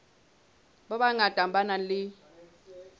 ba bangata ba nang le